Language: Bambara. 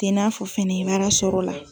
tɛ n'a fɔ fana baara sɔrɔ la.